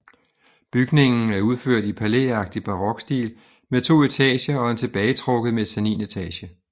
Bygningen er udført i palæagtig barokstil med to etager og en tilbagetrukket mezzaninetage